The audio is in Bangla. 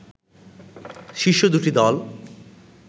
শীর্ষ দুটি দল